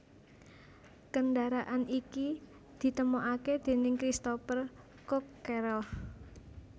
Kendharaan iki ditemokake déning Cristopher Cockerel